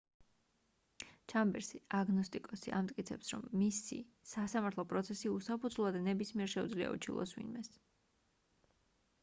ჩამბერსი აგნოსტიკოსი ამტკიცებს რომ მისი სასამართლო პროცესი უსაფუძვლოა და ნებისმიერს შეუძლია უჩივლოს ვინმეს